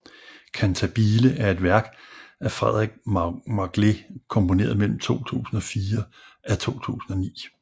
Cantabile er et værk af Frederik Magle komponeret mellem 2004 af 2009